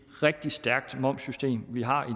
rigtig stærkt momssystem vi har